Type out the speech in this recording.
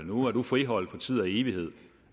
nu er du friholdt for tid og evighed